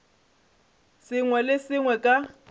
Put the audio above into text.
sengwe le se sengwe ka